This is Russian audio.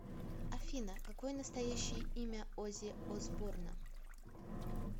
афина какое настоящее имя оззи осборна